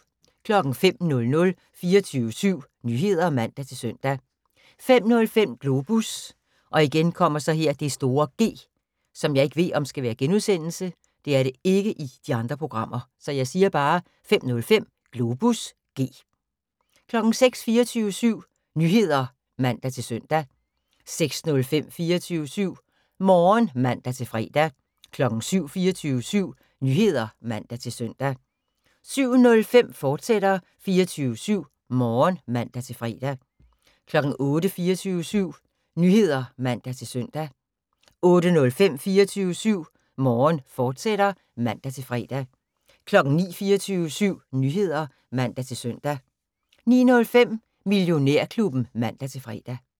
05:00: 24syv Nyheder (man-søn) 05:05: Globus (G) 06:00: 24syv Nyheder (man-søn) 06:05: 24syv Morgen (man-fre) 07:00: 24syv Nyheder (man-søn) 07:05: 24syv Morgen, fortsat (man-fre) 08:00: 24syv Nyheder (man-søn) 08:05: 24syv Morgen, fortsat (man-fre) 09:00: 24syv Nyheder (man-søn) 09:05: Millionærklubben (man-fre)